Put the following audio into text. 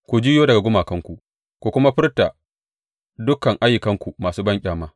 Ku juyo daga gumakanku ku kuma furta dukan ayyukanku masu banƙyama!